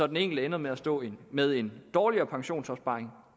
den enkelte ender med at stå med en dårligere pensionsopsparing